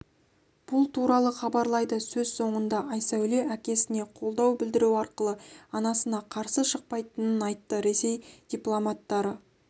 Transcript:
бұл туралы хабарлайды сөз соңында айсәуле әкесіне қолдау білдіру арқылы анасына қарсы шықпайтынын айтты ресей дипломаттары